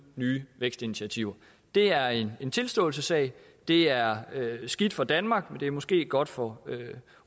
nye vækstinitiativer det er en tilståelsessag det er skidt for danmark men det er måske godt for